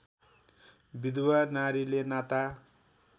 विधुवा नारीले नाता